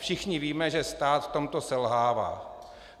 Všichni víme, že stát v tomto selhává.